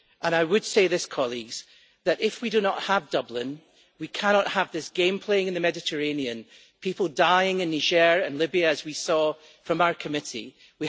I would say this, colleagues if we do not have Dublin, we cannot have this game playing in the Mediterranean and people dying in Niger and Libya, as we in our committee saw.